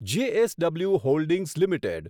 JSW holdings limited